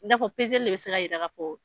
N'a fɔ sisan de sira jira ko